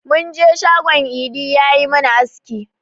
Mun je shagon idi ya yi mana aski.